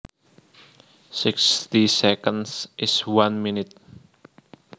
Sixty seconds is one minute